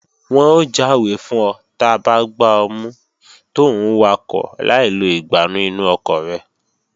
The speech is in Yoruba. Wọn ó jáwé fún ọ ta bá gbá ọ mú tòún wakọ̀ láì lo ìgbánú inú ọkọ̀ rẹ